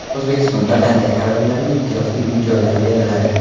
O‘zbekistonda qanday ayollarga imtiyozli uy-joylar beriladi?.